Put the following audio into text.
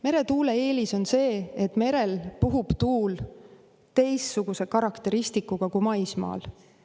Meretuule eelis on see, et merel puhub tuul teistsuguse karakteristikuga kui maismaal.